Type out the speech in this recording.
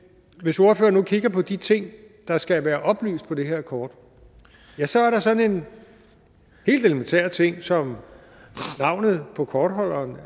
hvis ordføreren nu kigger på de ting der skal være oplyst på det her kort så er der sådan en helt elementær ting som navnet på kortholderen